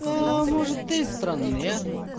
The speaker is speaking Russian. может ты странная а